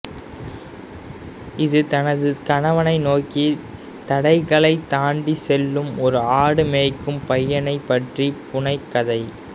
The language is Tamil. இது தனது கனவை நோக்கி தடைகளைத் தாண்டிச் செல்லும் ஒரு ஆடு மேய்க்கும் பையனைப் பற்றிய புனை கதை